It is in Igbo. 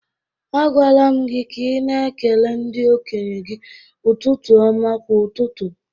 Agwala m gị ka ị na ekele ndi-okenye gi ụtụtụ ọma kwa ụtụtụ